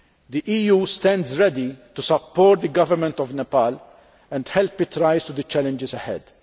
The EU stands ready to support the Government of Nepal and help it rise to the challenges ahead.